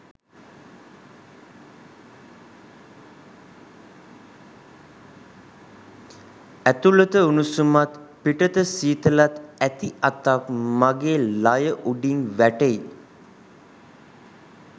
ඇතුළත උණුසුමත් පිටත සීතලත් ඇති අතක් මගේ ළය උඩින් වැටෙයි.